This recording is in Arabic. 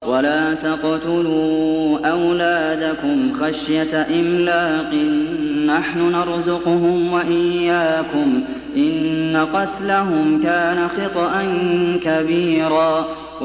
وَلَا تَقْتُلُوا أَوْلَادَكُمْ خَشْيَةَ إِمْلَاقٍ ۖ نَّحْنُ نَرْزُقُهُمْ وَإِيَّاكُمْ ۚ إِنَّ قَتْلَهُمْ كَانَ خِطْئًا كَبِيرًا